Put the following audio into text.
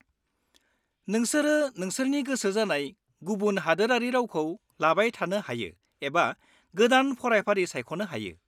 -नोंसोरो नोंसोरनि गोसो जानाय गुबुन हादोरारि रावखौ लाबाय थानो हायो एबा गोदान फरायफारि सायख'नो हायो।